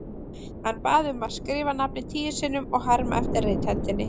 Hann bað mig að skrifa nafnið tíu sinnum og herma eftir rithendinni.